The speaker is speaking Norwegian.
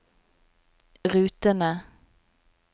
rutene